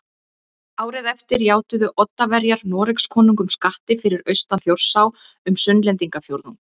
Árið eftir játuðu Oddaverjar Noregskonungum skatti fyrir austan Þjórsá um Sunnlendingafjórðung